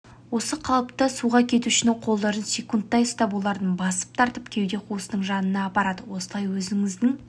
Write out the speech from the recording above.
осы қалыпта суға кетушінің қолдарын секундтай ұстап оларды басып тұрып кеуде қуысының жанына апарады осылай өзіңіздің